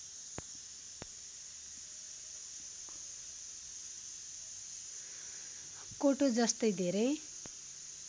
कोटो जस्तै धेरै